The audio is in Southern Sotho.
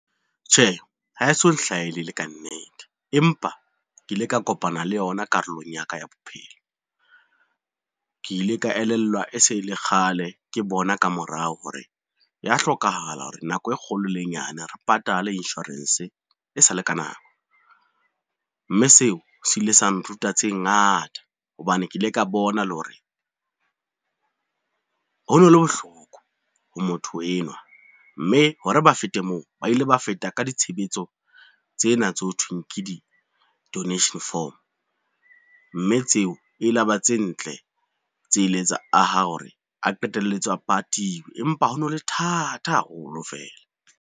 Tjhe, ha e so nhlahele e le ka nnete, empa ke ile ka kopana le yona karolong ya ka ya bophelo. Ke ile ka elellwa e se le kgale ke bona ka morao hore ya hlokahala hore nako e kgolo le e nyane re patale insurance e sa le ka nako, mme seo se ile sa nruta tse ngata hobane ke ile ka bona le hore ho no le bohloko ha motho enwa, mme hore ba fete moo, ba ile ba feta ka ditshebetso tsena tse ho thweng ke di-donation form, mme tseo e la ba tse ntletse ileng tsa aha hore a qetelletse a patiwe empa ho no le thata haholo fela.